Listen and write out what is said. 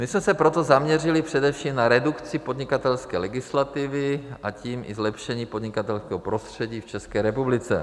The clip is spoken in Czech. My jsme se proto zaměřili především na redukci podnikatelské legislativy, a tím i zlepšení podnikatelského prostředí v České republice.